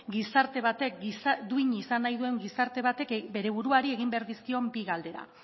duin izan nahi gizarte batek bere buruari egin behar dizkion bi galdera